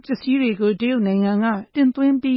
ပစ္စည်းတွေကို တင်သွင်းပြီ